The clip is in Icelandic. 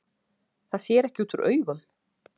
Það sér ekki út úr augum